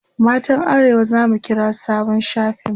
matan arewa zamu kira sabon shafin mu